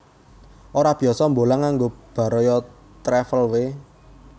Ora biyasa mbolang nganggo Baraya Travel we